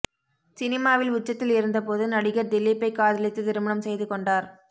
சினிமாவில் உச்சத்தில் இருந்தபோது நடிகர் திலீப்பை காதலித்து திருமணம் செய்து கொண்டார்